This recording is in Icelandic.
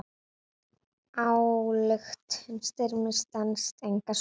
Ályktun Styrmis stenst enga skoðun.